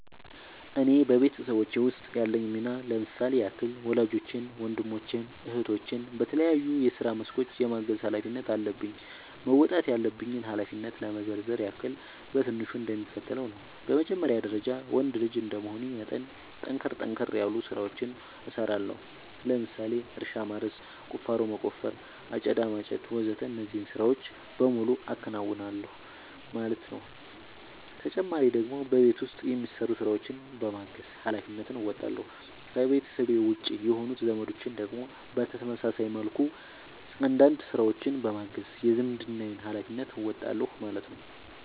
እኔ በቤተሰቦቼ ውስጥ ያለኝ ሚና ለምሳሌ ያክል ወላጆቼን ወንድሞቼን እህቶቼን በተለያዩ የስራ መስኮች የማገዝ ኃላፊነት አለብኝ። መወጣት ያለብኝን ኃላፊነት ለመዘርዘር ያክል በትንሹ እንደሚከተለው ነው በመጀመሪያ ደረጃ ወንድ ልጅ እንደመሆኔ መጠን ጠንከር ጠንከር ያሉ ስራዎችን እሰራለሁ ለምሳሌ እርሻ ማረስ፣ ቁፋሮ መቆፈር፣ አጨዳ ማጨድ ወዘተ እነዚህን ስራዎች በሙሉ አከናውናል ማለት ነው ተጨማሪ ደግሞ በቤት ውስጥ የሚሰሩ ስራዎችን በማገዝ ሃላፊነትን እንወጣለሁ። ከቤተሰቤ ውጪ የሆኑት ዘመዶቼን ደግሞ በተመሳሳይ መልኩ አንዳንድ ስራዎችን በማገዝ የዝምድናዬን ሀላፊነት እወጣለሁ ማለት ነው